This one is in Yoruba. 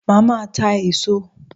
Màá máa ta èso